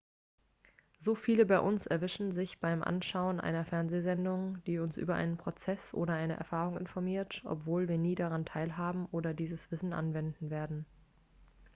so viele von uns erwischen sich beim anschauen einer fernsehsendung die uns über einen prozess oder eine erfahrung informiert obwohl wir nie daran teilhaben oder dieses wissen anwenden werden